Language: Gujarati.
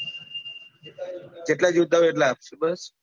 . જેટલા જોઈએ એટલા અપીસુ બસ